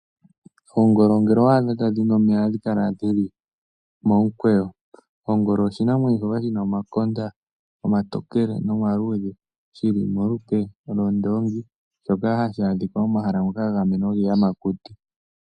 Oongolo ngele owa adha tadhi nu omeya ohadhi kala dhili momikweyo. Ongolo oshinamwenyo shoka shi na omakonda omatokele nomaluudhe shili molupe lwondoongi, shoka hashi adhika momahala ngoka ga gamenwa giiyamakuti.